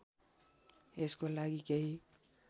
यसको लागि केही